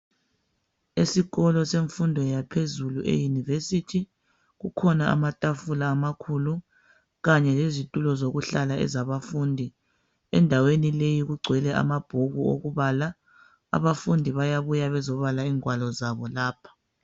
Esikolo semfundo yaphezulu eyunivesithi kukhona amatafula amakhulu kanye lezitulo zokuhlala ezabafundi. Endaweni leyi kugcwele amabhuku okubala abafundi bayabuya bezobala ingwalo zabo lapha.